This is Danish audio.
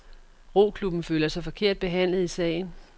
Roklubben føler sig forkert behandlet i sagen.